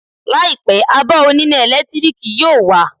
Láìpẹ́, abọ́ oníná ẹ̀lẹ́tíríkì yóò wà